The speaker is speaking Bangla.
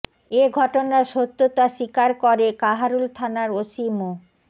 এ ঘটনার সত্যতা স্বীকার করে কাহারোল থানার ওসি মো